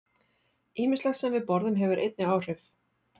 Ýmislegt sem við borðum hefur einnig áhrif.